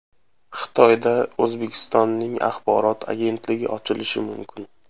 Xitoyda O‘zbekistonning axborot agentligi ochilishi mumkin.